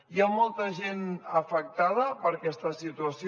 hi ha molta gent afectada per aquesta situació